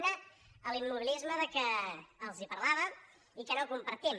una l’immobilisme de què els parlava i que no compartim